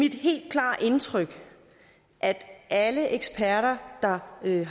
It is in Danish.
mit helt klare indtryk at alle eksperter der ved